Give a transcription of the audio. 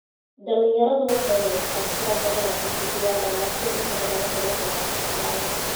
Dhalinyaradu waxay haystaan ??tiro badan oo codbixiyeyaal ah laakiin inta badan waxay la kulmaan shaqo la'aan.